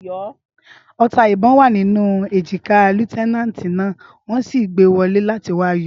Ọta ìbọn wa nínú èjìká líéutènànti náà, wón sì gbé wọlé láti wáá yọ